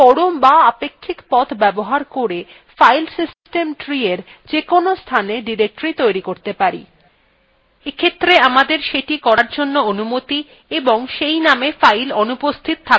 আমরা পরম বা আপেক্ষিক পথ ব্যবহার করে ফাইল সিস্টেম treewe যেকোনো স্থানে directory tree করতে tree এক্ষেত্রে আমাদের সেটি করার অনুমতি থাকতে have do সেই name ফাইল অনুপস্থিত থাকতে have